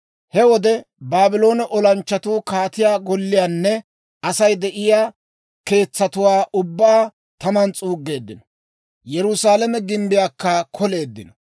He wode Baabloone olanchchatuu kaatiyaa golliyaanne Asay de'iyaa keetsatuwaa ubbaa taman s'uuggeeddino; Yerusaalame gimbbiyaakka koleeddino.